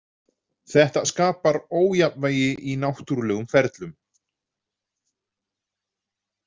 Þetta skapar ójafnvægi í náttúrulegum ferlum.